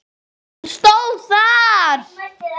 stóð þar.